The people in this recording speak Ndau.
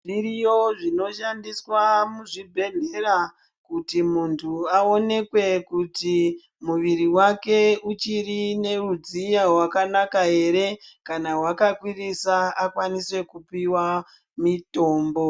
Zviriyo zvinoshandiswa muzvibhedhlera kuti munhu aonekwe kuti muviri wake uchiri neudziya hwakanaka ere. Kana hwakakwirisa akwanise kupiwa mitombo.